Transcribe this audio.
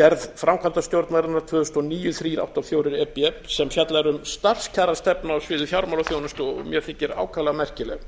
gerð framkvæmdastjórnarinnar tvö þúsund og níu þrjú hundruð áttatíu og fjögur e b sem fjallar um starfskjarastefnu á sviði fjármálaþjónustu og mér þykir ákaflega merkileg